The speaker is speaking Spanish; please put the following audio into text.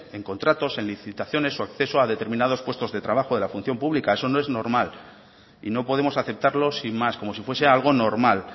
en contratos en licitaciones o acceso a determinados puestos de trabajo de la función pública eso no es normal y no podemos aceptarlo sin más como si fuese algo normal